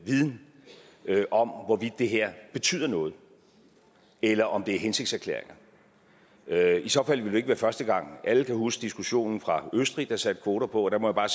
viden om hvorvidt det her betyder noget eller om det er hensigtserklæringer i så fald vil det jo ikke være første gang alle kan jo huske diskussionen fra østrig man satte kvoter på og der må jeg